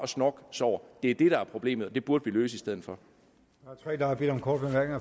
snorksover det er det der er problemet og det burde vi løse i stedet for